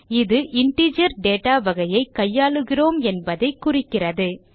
இது integer data வகையை கையாளுகிறோம் என்பதை குறிக்கிறது